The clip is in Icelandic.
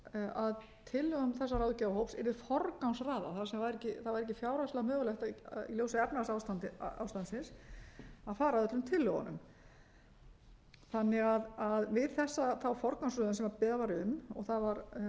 að tillögum þessa ráðgjafahóps yrði forgangsraðað þar sem það væri ekki fjárhagslega mögulegt í ljósi efnahagsástandsins að fara að öllum tillögunum við þá forgangsröðun sem beðið var um og það var háttvirtur þingmaður